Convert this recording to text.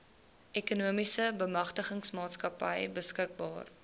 ekonomiese bemagtigingsmaatskappy beskikbaar